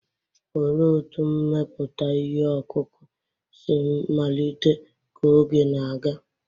Olee otú mmepụta ihe ọkụkụ si malite ka oge na-aga?